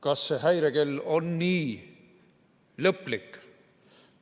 Kas see häirekell on nii lõplik?